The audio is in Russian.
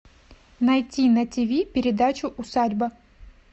найти на тв передачу усадьба